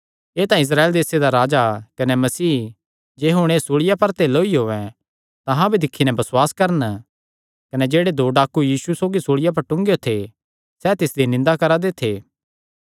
एह़ तां इस्राएल देसे दा राजा कने मसीह हुण जे एह़ सूल़िया पर ते लौई औयें तां अहां भी दिक्खी नैं बसुआस करन कने जेह्ड़े दो डाकू यीशु सौगी सूल़िया पर टूंगेयो थे सैह़ तिसदी निंदा करा दे थे